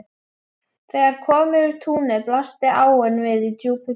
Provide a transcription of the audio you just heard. Þegar kom yfir túnið blasti áin við í djúpu gili.